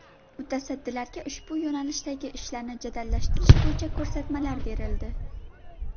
Mutasaddilarga ushbu yo‘nalishdagi ishlarni jadallashtirish bo‘yicha ko‘rsatmalar berildi.